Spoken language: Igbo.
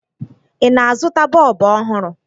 Ị na-azụta bọọbụ ọhụrụ?